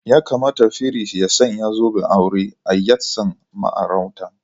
Ya kamata firist ya sanya zoben aure a yatsan ma'auratan.